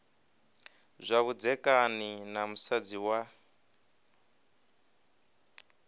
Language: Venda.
zwa vhudzekani na musadzi wa